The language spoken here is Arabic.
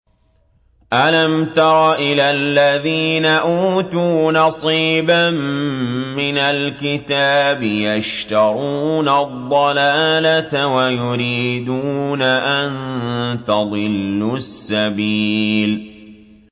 أَلَمْ تَرَ إِلَى الَّذِينَ أُوتُوا نَصِيبًا مِّنَ الْكِتَابِ يَشْتَرُونَ الضَّلَالَةَ وَيُرِيدُونَ أَن تَضِلُّوا السَّبِيلَ